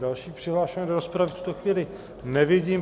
Další přihlášené do rozpravy v tuto chvíli nevidím.